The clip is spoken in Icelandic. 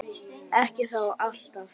Ekki þó alltaf.